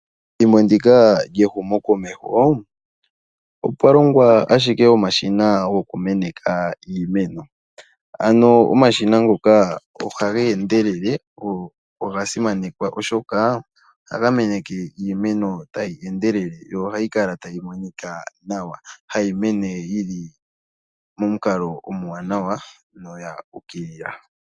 Methimbo ndika lyehumokomeho opwa longwa omashina goku meneka iimeno. Omashina ngano oha ga endelele moku kokeka iimeno na oga simanekwa noonkondo. Iimeno ohayi mene yili melandulathano na ohayi kala tayi monika nawa.